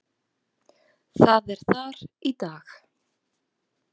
Það er þar í dag.